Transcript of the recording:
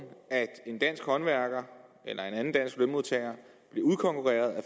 at en dansk håndværker eller en anden dansk lønmodtager bliver udkonkurreret af